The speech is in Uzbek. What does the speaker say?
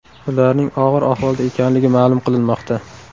Ularning og‘ir ahvolda ekanligi ma’lum qilinmoqda.